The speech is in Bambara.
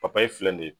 papaye filɛ nin